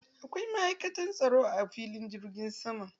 Akwai ma'aikatan tsaro a filin jirgin sama.